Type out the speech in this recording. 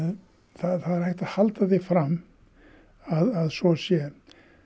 það er hægt að halda því fram að svo sé